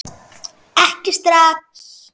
Ekki strax!